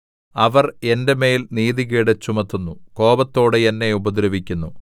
അവർ എന്റെ മേൽ നീതികേട് ചുമത്തുന്നു കോപത്തോടെ എന്നെ ഉപദ്രവിക്കുന്നു